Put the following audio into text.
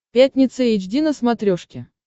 пятница эйч ди на смотрешке